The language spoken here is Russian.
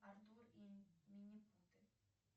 артур и минипуты